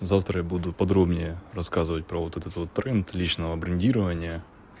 завтра я буду подробнее рассказывать про вот это вот тренд личного брендирования